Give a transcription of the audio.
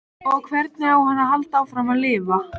Og hvernig á hann að halda áfram að lifa?